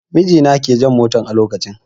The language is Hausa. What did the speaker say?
Mijina ke jan motan a lokacin